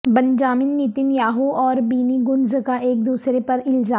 Benjamin Netanyahu اوربینی Gantz کا ایک دوسرے پر الزام